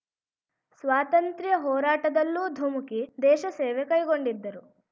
ಸ್ವಾತಂತ್ರ್ಯ ಹೋರಾಟದಲ್ಲೂ ಧುಮುಕಿ ದೇಶ ಸೇವೆ ಕೈಗೊಂಡಿದ್ದರು